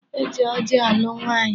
E ji ọjị alụ nwaanyị.